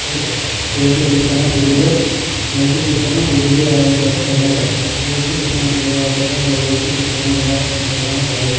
ಯೇಸು ಕ್ರಿಸ್ತನ ಶಿಲುಬೆ ಯೇಸು ಕ್ರಿಸ್ತನ ಶಿಲುಬೆಯಾಗಿರುತ್ತದೆ. ಯೇಸು ಕ್ರಿಸ್ತನ ಶಿಲುಬೆಯಾಗುತ್ತದೆ ಯೇಸು ಕ್ರಿಸ್ತನ ಎಲ್ಲಾ ದರ್ಶನ ಪಡೆಯು--